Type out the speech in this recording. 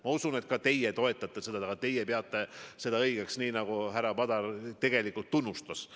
Ma usun, et ka teie toetate seda ja ka teie peate seda õigeks, nii nagu härra Padar seda tegelikult tunnustas.